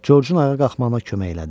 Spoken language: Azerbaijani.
Georgeun ayağa qalxmağına kömək elədi.